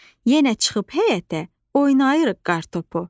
Yenə çıxıb həyətə, oynayırıq qartopu.